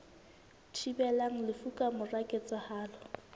thibelang lefu ka mora ketsahalo